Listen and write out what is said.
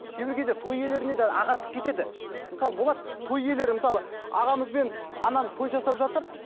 кейбір кезде той иелерінен де ағаттық кетеді мысалы болады той иелері мысалы ағамыз бен анамыз той жасап жатыр